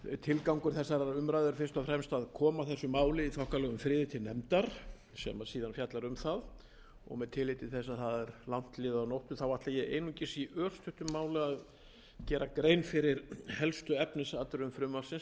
tilgangur þessarar umræðu er fyrst og fremst að koma þessu máli í þokkalegum friði til nefndar sem síðan fjallar um það og með tilliti til þess að það er langt liðið á nóttu þá ætla ég einungis í örstuttu máli að gera grein fyrri helstu efnisatriðum frumvarpsins sem